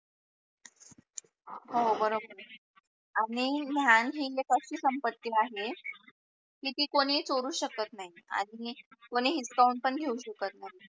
हो बरोबर. आहे आणि ज्ञान ही एक अशी संपत्ति आहे की ती कोणी तोडू शकत नाही, आणि कोणी हीचकाऊं पण घेऊ शकत नाही